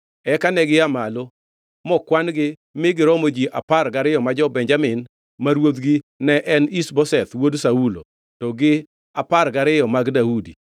Eka negia malo mokwan-gi mi giromo ji apar gi ariyo ma jo-Benjamin ma ruodhgi ne en Ish-Boseth wuod Saulo, to gi apar gariyo mag Daudi.